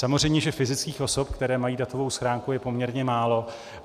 Samozřejmě že fyzických osob, které mají datovou schránku, je poměrně málo.